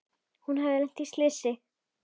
Hafði hún lent í slysi?